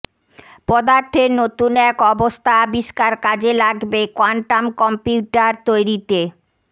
পদার্থের নতুন এক অবস্থা আবিষ্কার কাজে লাগবে কোয়ান্টাম কম্পিউটার তৈরিতে